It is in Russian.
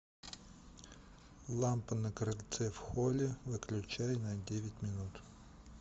лампа на крыльце в холле выключай на девять минут